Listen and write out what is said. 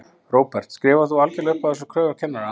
Róbert: Skrifar þú algjörlega upp á þessar kröfur kennara?